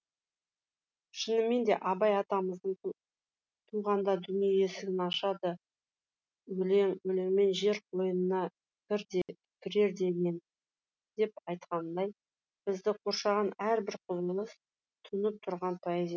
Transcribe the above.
шынымен де абай атамыздың туғанда дүние есігін ашады өлең өлеңмен жер қойнына кірер денең деп айтқанындай бізді қоршаған әрбір құбылыс тұнып тұрған поэзия